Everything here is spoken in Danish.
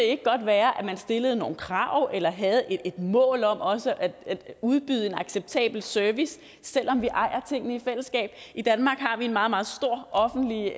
ikke godt være at man stillede nogle krav eller havde et mål om også at udbyde en acceptabel service selv om vi ejer tingene i fællesskab i danmark har vi en meget meget stor offentlig